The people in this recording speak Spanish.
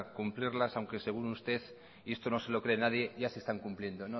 cumplirlas aunque según usted y esto no se lo cree nadie ya se están cumpliendo